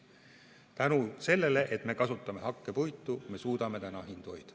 Tänu sellele, et me kasutame hakkepuitu, me suudame hindu hoida.